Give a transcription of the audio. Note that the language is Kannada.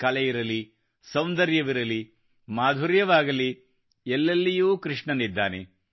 ಕಲೆಯಿರಲಿ ಸೌಂದರ್ಯವಿರಲಿ ಮಾಧುರ್ಯವಾಗಲಿ ಎಲ್ಲೆಲ್ಲಿಯೂ ಕೃಷ್ಣನಿದ್ದಾನೆ